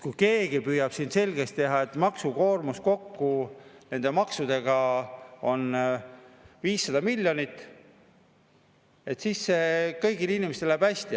Kui keegi püüab siin selgeks teha, et maksukoormus nende maksudega kokku on 500 miljonit ja et siis kõigil inimestel läheb hästi …